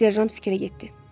Serjant fikrə getdi.